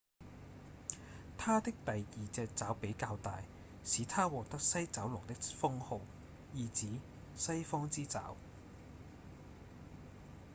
牠的第二隻爪比較大使牠獲得西爪龍的封號意指「西方之爪」